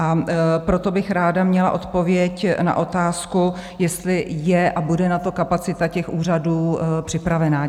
A proto bych ráda měla odpověď na otázku, jestli je a bude na to kapacita těch úřadů připravena.